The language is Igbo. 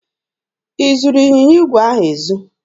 I zuru ịnyịnya igwe ahụ ezu?